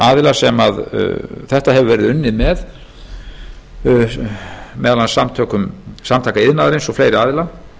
aðila sem þetta hefur verið unnið með meðal annars samtaka iðnaðarins og fleiri aðila